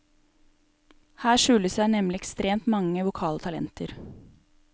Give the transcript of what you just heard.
Her skjuler det seg nemlig ekstremt mange vokale talenter.